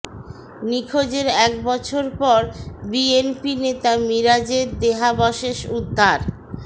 নিখোঁজের এক বছর পর বিএনপি নেতা মিরাজের দেহাবশেষ উদ্ধার